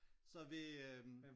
Så vi øh